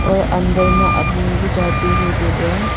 और अंदर में आदमी भी जाती हुई देख रहे हैं।